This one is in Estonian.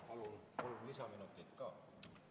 Palun kolm lisaminutit ka!